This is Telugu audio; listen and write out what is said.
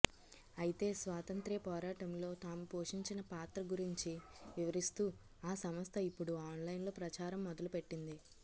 అయితే స్వాతంత్ర్య పోరాటంలో తాము పోషించిన పాత్ర గురించి వివరిస్తూ ఆ సంస్థ ఇప్పుడు ఆన్లైన్లో ప్రచారం మొదలుపెట్టింది